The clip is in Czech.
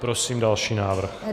Prosím další návrh.